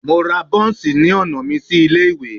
Mo ra buns ni ọna mi si ile-iwe